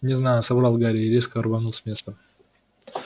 не знаю соврал гарри и резко рванул с места